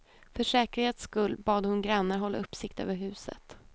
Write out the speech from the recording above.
För säkerhets skull bad hon grannar hålla uppsikt över huset.